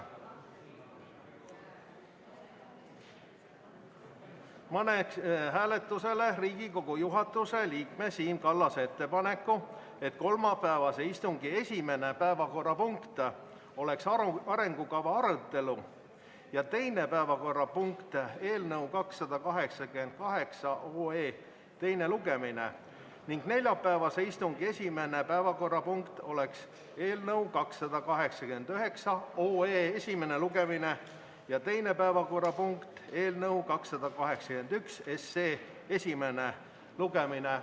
Panen hääletusele Riigikogu juhatuse liikme Siim Kallase ettepaneku, et kolmapäevase istungi esimene päevakorrapunkt oleks arengukava arutelu ja teine päevakorrapunkt oleks eelnõu 288 teine lugemine ning neljapäevase istungi esimene päevakorrapunkt oleks eelnõu 289 esimene lugemine ja teine päevakorrapunkt eelnõu 281 esimene lugemine.